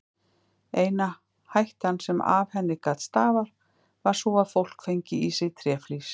Eina hættan sem af henni gat stafað var sú að fólk fengi í sig tréflís.